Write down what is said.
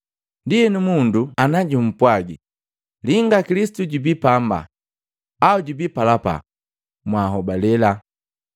“Ndienu mundu ana jumpwagi, ‘Linga, Kilisitu jubii pamba,’ Au ‘Jubii palapa,’ Mwanhobale.